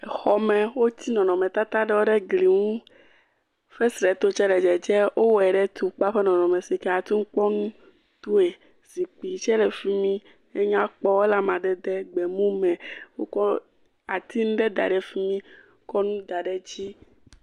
Xɔme wotsi nɔnɔmetata aɖewo ɖe gli ŋu. Fesreto tse le dzedzem. Wowɔe ɖe tukpa ƒe nɔnɔme sike ate ŋu akpɔ nu. Zikpui tse le fi mi. Enyakpɔ ele amadede gbemu me wokɔ ati ŋu ɖe da ɖe fi mi wokɔ nu ɖe da ɖe dzi.